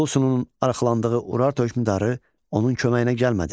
Ullusununun arxalandığı Urartu hökmdarı onun köməyinə gəlmədi.